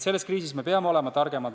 Selles kriisis me peame olema targemad.